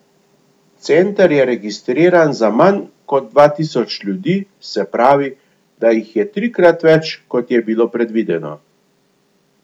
Center je registriran za manj kot dva tisoč ljudi, se pravi, da jih je trikrat več, kot je bilo predvideno.